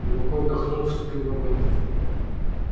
глубоко вздохнул вступил в огонь